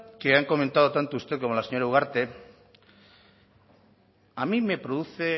que han comentado tanto usted como la señora ugarte a mí me produce